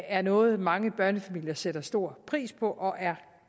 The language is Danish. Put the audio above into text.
er noget mange børnefamilier sætter stor pris på og er